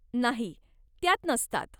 नाही. त्यात नसतात.